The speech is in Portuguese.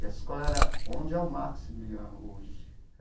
E essa escola era onde é o Maximiliano hoje.